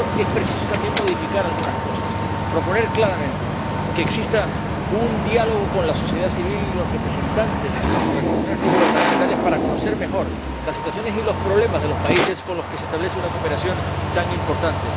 Y, para eso, es preciso también modificar algunas cosas proponer claramente que exista un diálogo con la sociedad civil y los representantes de las organizaciones no gubernamentales para conocer mejor las situaciones y los problemas de los países con los que se establece una cooperación tan importante